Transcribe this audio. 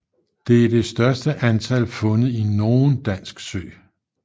Det er det største antal fundet i nogen dansk sø